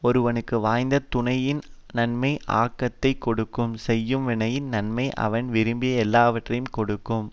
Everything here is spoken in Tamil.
ஒருவனுக்கு வாய்த்த துணையின் நன்மை ஆக்கத்தை கொடுக்கும் செய்யும் வினையின் நன்மை அவன் விரும்பிய எல்லாவற்றையும் கொடுக்கும்